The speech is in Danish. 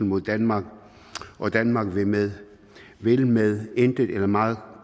mod danmark og danmark vil med vil med intet eller meget